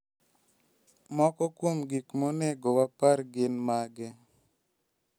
Moko kuom gik monego wapar gin mage?